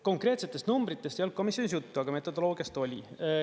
Konkreetsetest numbritest ei olnud komisjonis juttu, aga metodoloogiast oli.